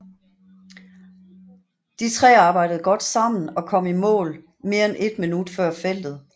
De tre arbejdede godt sammen og kom i mål mere end et minut før feltet